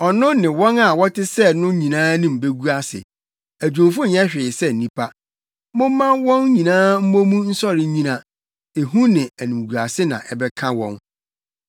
Ɔno ne wɔn a wɔte sɛ no nyinaa anim begu ase; adwumfo nyɛ hwee sɛ nnipa. Momma wɔn nyinaa mmɔ mu nsɔre nnyina, ehu ne animguase na ɛbɛka wɔn.